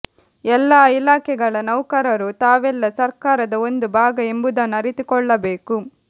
ಎಲ್ಲಾ ಇಲಾಖೆಗಳ ನೌಕರರೂ ತಾವೆಲ್ಲ ಸರ್ಕಾರದ ಒಂದು ಭಾಗ ಎಂಬುದನ್ನು ಅರಿತುಕೊಳ್ಳಬೇಕು